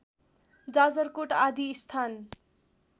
जाजरकोट आदि स्थान